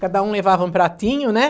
Cada um levava um pratinho, né?